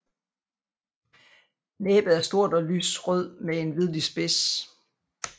Næbet er stort og lys rød med en hvidlig spids